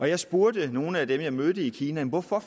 jeg spurgte nogle af dem jeg mødte i kina hvorfor